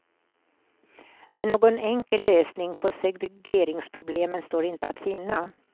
Men någon enkel lösning på segregeringsproblemen står inte att finna.